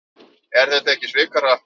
Er þetta ekki svikahrappur?